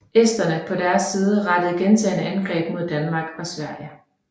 Esterne på deres side rettede gentagne angreb mod Danmark og Sverige